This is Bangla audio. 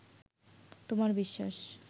তোমার বিশ্বাস